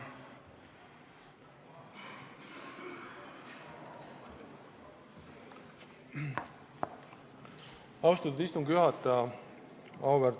Austatud istungi juhataja!